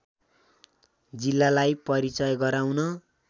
जिल्लालाई परिचय गराउन